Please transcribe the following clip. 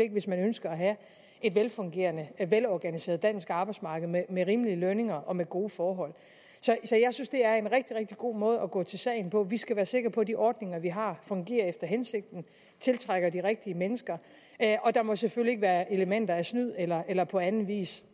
ikke hvis man ønsker at have et velfungerende velorganiseret dansk arbejdsmarked med med rimelige lønninger og med gode forhold så jeg synes det er en rigtig rigtig god måde at gå til sagen på vi skal være sikre på at de ordninger vi har fungerer efter hensigten og tiltrækker de rigtige mennesker og der må selvfølgelig ikke være elementer af snyd eller eller på anden vis